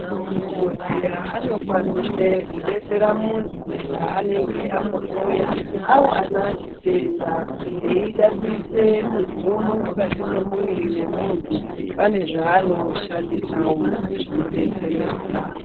Madhokodheya anokwanise kudetsera muntu paanenge amuhloya awana chitenda eida kuisa mitombo mukati memuviri memuntu pane zvaanoshandisewo zvinodetseredza.